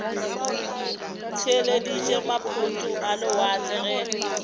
theeleditše maphoto a lewatle ge